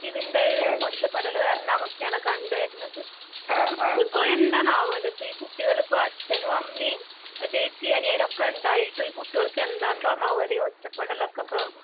ഇതിൻറെ ഒറ്റപ്പെടല്കരണമുഖ്യയാണ് കണ്ടുവരുന്നത്. അതിപ്പൊ എന്താന്നാവോല് ഇപ്പഈകുട്ടികളിപ്പഅച്ഛനുഅമ്മീം, ചേച്ചീഅനിയനൊക്കെയൊണ്ടായിട്ടും ഈകുട്ടികൾകെന്താന്തോന്നാവോലീ ഒറ്റപെടലൊക്കിപ്പോ